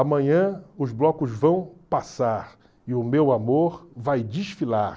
Amanhã os blocos vão passar e o meu amor vai desfilar.